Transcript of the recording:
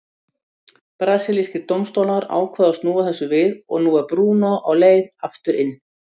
Brasilískir dómstólar ákváðu að snúa þessu við og nú er Bruno á leið aftur inn.